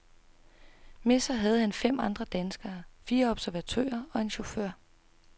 Med sig har han fem andre danskere, fire observatører og en chauffør.